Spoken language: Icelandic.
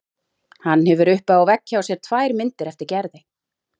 Hann hefur uppi á vegg hjá sér tvær myndir eftir Gerði.